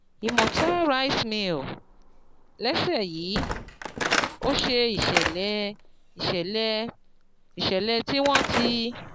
Imota Rice Mill: Lẹ́sẹ̀ yìí, ó ṣe ìṣẹ̀lẹ̀ ìṣẹ̀lẹ̀ ìṣẹ̀lẹ̀ tí wọ́n ti